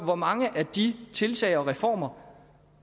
hvor mange af de tiltag og reformer